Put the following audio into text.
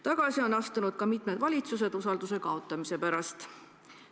Tagasi on astunud ka mitmed valitsused usalduse kaotamise pärast.